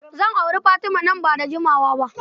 Zan auri Fatima nan ba da jimawa ba.